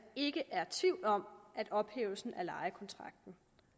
ikke er tvivl om at ophævelsen